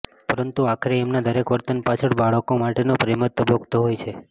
પરંતુ આખરે એમના દરેક વર્તન પાછળ બાળકો માટેનો પ્રેમ જ ધબકતો હોય છે